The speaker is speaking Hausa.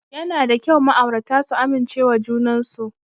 Yana da kyau ma'aurata su amincewa junan su.